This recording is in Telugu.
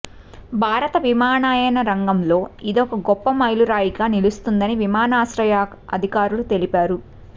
భారత విమానయాన రంగంలోనే ఇదొక గొప్ప మైలురాయిగా నిలుస్తుందని విమానాశ్రయ అధికారులు తెలిపారు